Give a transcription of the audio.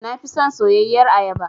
Na fi son soyayyar ayaba.